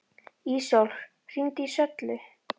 Ísól, hringdu í Söllu.